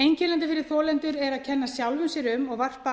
einkennandi fyrir þolendur er að kenna sjálfum sér um og varpa